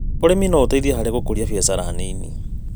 ũrĩmi no ũteithie harĩ gũkũria biacara nini.